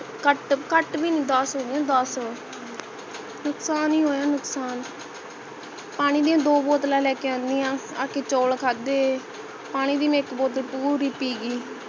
ਘਟ ਘਟ ਘਟ ਭੀ ਨਹੀਂ ਦਸ ਹੋਇਆਂ ਦਸ ਨੁਕਸਾਨ ਹੀ ਹੋਇਆ ਨੁਕਸਾਨ ਪਾਣੀ ਦੀਆਂ ਦੋ ਬੋਤਲਾਂ ਲੈਕੇ ਆਨੀ ਹੈ ਆਕੇ ਚੋਲ ਖਾਦੇ ਪਾਣੀ ਦੀ ਮੈਂ ਇਕ bottle ਪੂਰੀ ਪੀਗੀਂ